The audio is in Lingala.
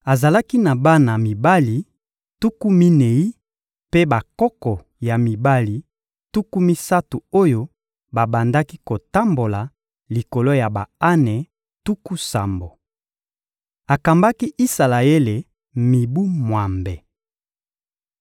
Azalaki na bana mibali tuku minei mpe bakoko ya mibali tuku misato oyo babandaki kotambola likolo ya ba-ane tuku sambo. Akambaki Isalaele mibu mwambe.